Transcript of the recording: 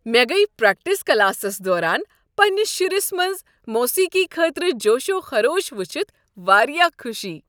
مےٚ گٔیہ practice classes دوران پنٛنس شُرس منٛز موسیقی خٲطرٕ جوش و خروش وٕچھتھ واریاہ خوشی۔